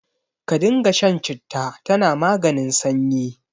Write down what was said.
Ka dinga shan citta, tana maganin sanyi.